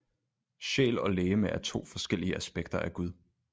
Sjæl og legeme er to forskellige aspekter af gud